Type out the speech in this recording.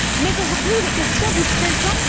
Mais aujourd'hui, il est question du présent.